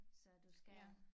Så du skal